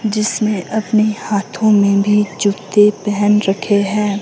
जिसमें अपने हाथों में भी जूते पहन रखे है।